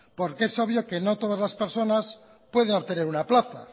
porque es obvio que no todas las personas pueden obtener una plaza